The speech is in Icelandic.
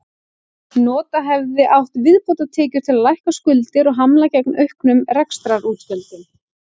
Nota hefði átt viðbótartekjur til að lækka skuldir og hamla gegn auknum rekstrarútgjöldum.